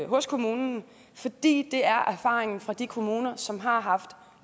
hos kommunen fordi det er erfaringen fra de kommuner som har haft